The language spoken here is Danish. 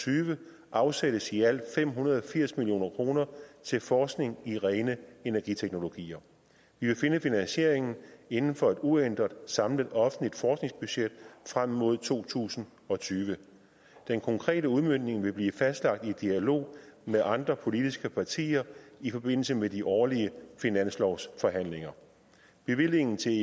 tyve afsættes i alt fem hundrede og firs million kroner til forskning i rene energiteknologier vi vil finde finansieringen inden for et uændret samlet offentligt forskningsbudget frem mod to tusind og tyve den konkrete udmøntning vil blive fastlagt i dialog med andre politiske partier i forbindelse med de årlige finanslovsforhandlinger bevillingen til